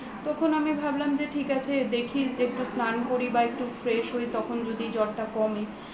তখন আমি ভাবলাম যে ঠিক আছে দেখি একটু স্নান করি বা একটু fresh হই তখন যদি জ্বরটা কমে